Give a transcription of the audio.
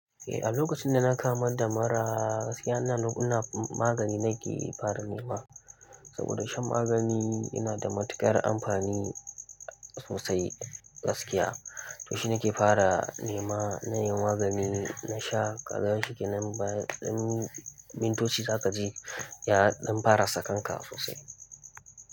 Eh, a lokacin da na kamu da mura gaskiya ina magani nake fara nema. Saboda shan magani yana da matuƙar amfani sosai gaskiya. To shi nake fara nema na yin magani, na sha ƙazarin shikin nan bayan mintoci za ka ji ya ɗan fara sakan ka sosai.